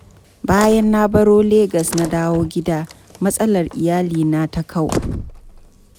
Bayan da na baro Legas na dawo gida, matsalar iyalina ta kau.